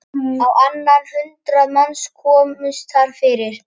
Á annað hundrað manns komust þar fyrir.